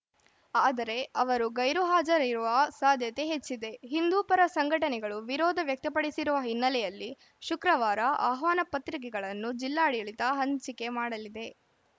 ಆದರೆ ಅವರು ಗೈರು ಹಾಜರಿರುವ ಸಾಧ್ಯತೆ ಹೆಚ್ಚಿದೆ ಹಿಂದೂ ಪರ ಸಂಘಟನೆಗಳು ವಿರೋಧ ವ್ಯಕ್ತಪಡಿಸಿರುವ ಹಿನ್ನೆಲೆಯಲ್ಲಿ ಶುಕ್ರವಾರ ಆಹ್ವಾನಪತ್ರಿಕೆಗಳನ್ನು ಜಿಲ್ಲಾಡಳಿತ ಹಂಚಿಕೆ ಮಾಡಲಿದೆ